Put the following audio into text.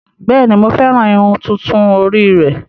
Bẹ́ẹ̀ni, Mo fẹran ìrun tuntun ori rẹ